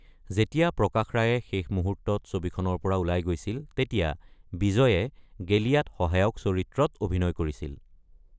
যেতিয়া প্ৰকাশ ৰায়ে শেষ মুহূৰ্তত ছবিখনৰ পৰা ওলাই গৈছিল তেতিয়া বিজয়ে গেলিয়াত সহায়ক চৰিত্ৰত অভিনয় কৰিছিল।